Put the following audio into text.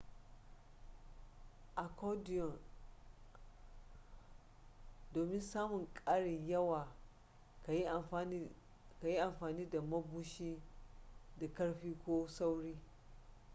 a accordion domin samun karin yawa ka yi amfani da mabushi da ƙarfi ko sauri